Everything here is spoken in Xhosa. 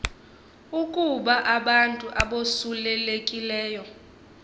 ukuba abantu abosulelekileyo